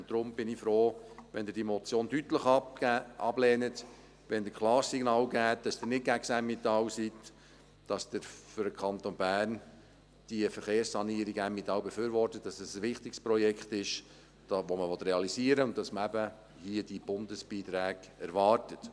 Deshalb bin ich froh, wenn Sie diese Motion deutlich ablehnen, wenn Sie ein klares Signal aussenden, dass Sie nicht gegen das Emmental sind, dass Sie für den Kanton Bern die Verkehrssanierung Emmental befürworten, dass es ein wichtiges Projekt ist, das man realisieren will, und dass man diese Bundesbeiträge eben hier erwartet.